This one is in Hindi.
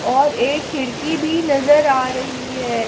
और एक खिड़की भी नजर आ रही है।